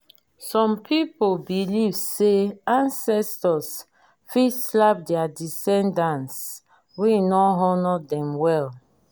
some people believe say ancestors fit slap their descendants wey no honour dem well